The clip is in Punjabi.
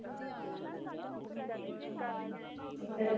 ਇਹ ਤਾਂ